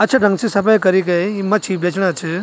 अच्छे ढंग से सफाई करी गयी ये मछी बेचणा छ।